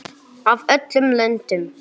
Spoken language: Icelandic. Af öllum löndum.